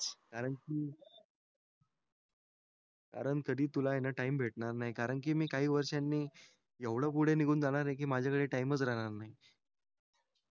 कारण की कारण कधी आहे न तुला टाइम भेटणार नाही कारण कि मी काही वर्षांनी एवढ पुढे निघून जाणार आहे कि माझा कड च राहणार नाही